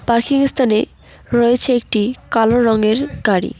Parking -এর স্থানে রয়েছে একটি কালো রঙের গাড়ি।